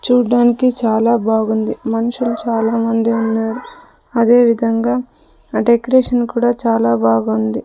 చూడ్డానికి చాలా బాగుంది మనుషులు చాలామంది ఉన్నారు అదే విధంగా ఆ డెకరేషన్ కూడా చాలా బాగుంది.